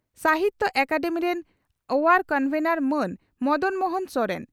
ᱥᱟᱦᱤᱛᱭᱚ ᱟᱠᱟᱫᱮᱢᱤ ᱨᱮᱱ ᱟᱭᱟᱨ ᱠᱚᱱᱵᱷᱮᱱᱚᱨ ᱢᱟᱱ ᱢᱚᱫᱚᱱ ᱢᱳᱦᱚᱱ ᱥᱚᱨᱮᱱ